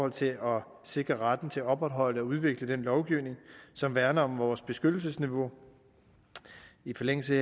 at sikre sikre retten til at opretholde og udvikle den lovgivning som værner om vores beskyttelsesniveau i forlængelse